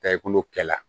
Taa i kɛ la